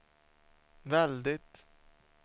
väldigt